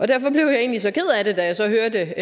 derfor blev jeg egentlig så ked af det da jeg så hørte